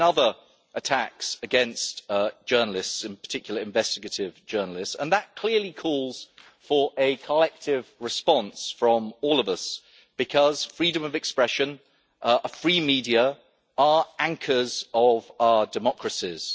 There have been other attacks against journalists, in particular investigative journalists, and that clearly calls for a collective response from all of us, because freedom of expression and a free media are anchors of our democracies.